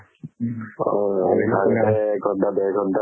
উম। হয় হয়। এক ঘন্টা ডেৰ ঘন্টা